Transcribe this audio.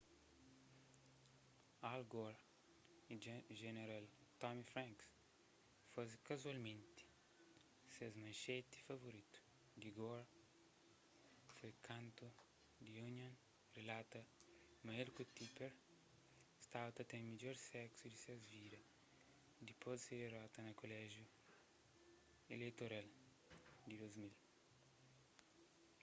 al gore y jeneral tommy franks faze kazualmenti ses manxeti favoritu di gore foi kantu the onion rilata ma el ku tipper staba ta ten midjor seksu di ses vida dipôs di se dirota na koléjiu ileitoral di 2000